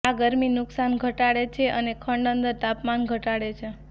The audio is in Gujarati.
આ ગરમી નુકશાન ઘટાડે છે અને ખંડ અંદર તાપમાન ઘટાડે છે